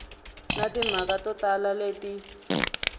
na timhaka to tala leti